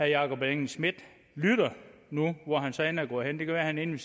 jakob engel schmidt lytter nu hvor han så end er gået hen det kan være han er inde